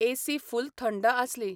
AC full थंड आसली.